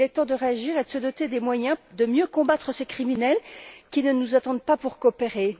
Il est temps de réagir et de se doter des moyens de mieux combattre ces criminels qui ne nous attendent pas pour coopérer.